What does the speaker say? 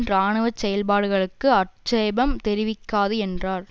இராணுவ செயல்பாடுகளுக்கு ஆட்சேபம் தெரிவிக்காது என்றார்